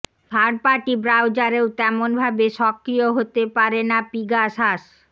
third party ব্রাউজারেও তেমনভাবে সক্রিয় হতে পারে না পিগাসাস